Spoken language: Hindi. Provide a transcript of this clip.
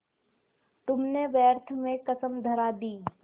तुमने व्यर्थ में कसम धरा दी